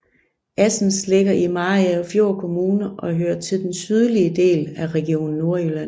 Assens ligger i Mariagerfjord Kommune og hører til den sydlige del af Region Nordjylland